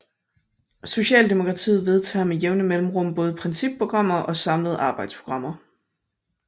Socialdemokratiet vedtager med jævne mellemrum både principprogrammer og samlede arbejdsprogrammer